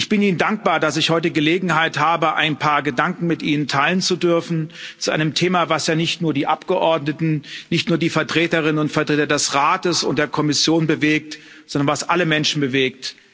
Ich bin Ihnen dankbar, dass ich heute Gelegenheit habe, ein paar Gedanken mit Ihnen teilen zu dürfen zu einem Thema, was ja nicht nur die Abgeordneten, nicht nur die Vertreterinnen und Vertreter des Rats und der Kommission bewegt, sondern was alle Menschen bewegt.